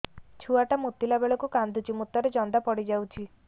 ଛୁଆ ଟା ମୁତିଲା ବେଳକୁ କାନ୍ଦୁଚି ମୁତ ରେ ଜନ୍ଦା ପଡ଼ି ଯାଉଛି